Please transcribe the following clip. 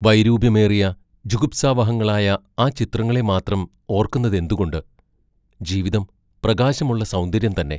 വൈരൂപ്യമേറിയ ജുഗുപ്സാവഹങ്ങളായ ആ ചിത്രങ്ങളെ മാത്രം ഓർക്കുന്നതെന്തുകൊണ്ട് ജീവിതം പ്രകാശമുള്ള സൗന്ദര്യം തന്നെ!